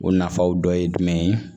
O nafaw dɔ ye jumɛn ye